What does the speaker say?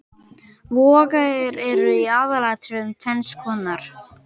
Vogir eru í aðalatriðum tvenns konar.